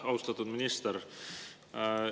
Austatud minister!